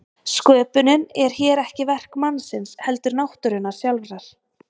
Sköpunin er hér ekki verk mannsins heldur náttúrunnar sjálfrar.